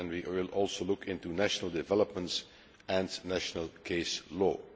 We will also look into national developments and national case law.